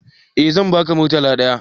Eh zan ba ka murtala ɗaya